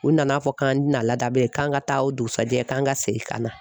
U nana fɔ k'an tɛna laada bilen k'an ka taa o dugusajɛ k'an ka segin ka na.